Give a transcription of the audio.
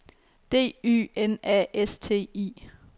D Y N A S T I